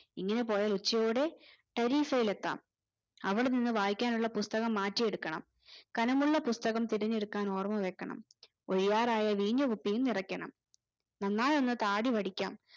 ഇങ്ങനെ പോയാൽ ഉച്ചയോടെ ഇലെത്താം അവിടിന് വായിക്കാനുള്ള പുസ്‌തകം മാറ്റി എടുക്കണം ഘനമുള്ള പുസ്‌തകം തിരഞ്ഞെടുക്കാൻ ഓർമ്മ വെക്കണം ഒഴിയാറായ വീഞ്ഞു കുപ്പിയും നിറയ്ക്കണം നന്നായി ഒന്നു താടി വടിക്കാം